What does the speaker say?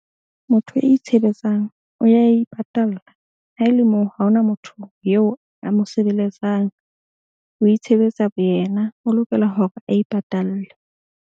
Motho a itshebetsang o ya ipatalla ha e le moo. Ha ho na motho eo a mo sebeletsang, o itshebetsa bo yena, o lokela hore a ipatalle.